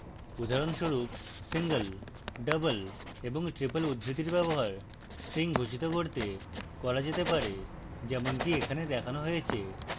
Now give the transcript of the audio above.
উদাহরণস্বরূপ: